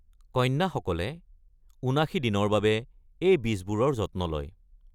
কন্যাসকলে ৭৯ দিনৰ বাবে এই বীজবোৰৰ যত্ন লয়।